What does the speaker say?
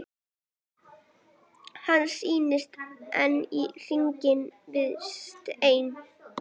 Hann snýst enn í hringi með steininn.